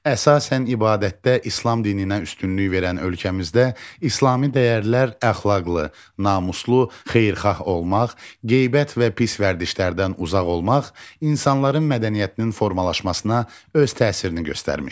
Əsasən ibadətdə İslam dininə üstünlük verən ölkəmizdə İslami dəyərlər əxlaqlı, namuslu, xeyirxah olmaq, qeybət və pis vərdişlərdən uzaq olmaq insanların mədəniyyətinin formalaşmasına öz təsirini göstərmişdi.